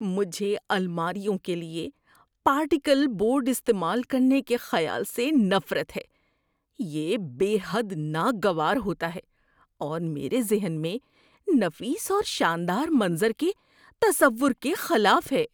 مجھے الماریوں کے لیے پارٹیکل بورڈ استعمال کرنے کے خیال سے نفرت ہے۔ یہ بے حد ناگوار ہوتا ہے اور میرے ذہن میں نفیس اورشاندار منظر کے تصور کے خلاف ہے۔